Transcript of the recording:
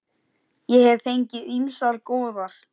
Ég hef fengið ýmsar góðar.